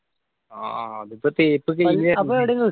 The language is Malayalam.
ആഹ് അത് ഇപ്പൊ തേപ്പ് കയിഞ്ഞു